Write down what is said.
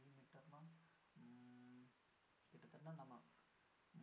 millimeter னா கிட்டதட்ட நம்ம